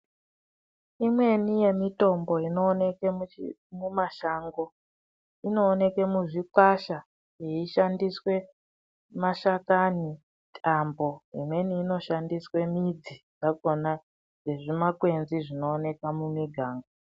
imweni yemitombo inooneke mumashango inooneke muzvikwasha yeishandiswe mashakani apo imweni inoshandiswa midzi dzakona nezvimakwedzi zvinooneka muniganga.